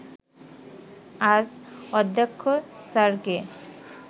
আজ অধ্যক্ষ স্যারকে